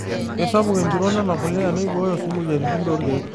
Keisapuk empiron ena pulia neiboyoo sii moyiaritin toorkiek.